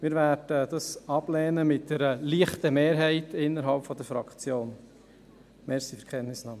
Wir werden dies mit einer leichten Mehrheit innerhalb der Fraktion ablehnen.